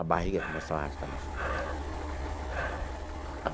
A barriga começou a arrastar no chão.